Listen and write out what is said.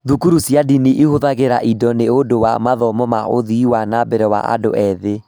Thukuru cia ndini ihũthagĩra indo nĩ ũndũ wa mathomo na ũthii wa na mbere wa andũ ethĩ.